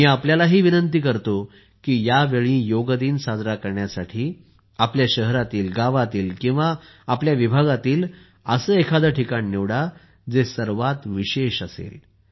मी तुम्हाला सुद्धा विनंती करतो की यावेळी योग दिन साजरा करण्यासाठी तुमच्या शहरातील गावातील किंवा विभागातील असे कोणतेही ठिकाण निवडा जे सर्वात विशेष असेल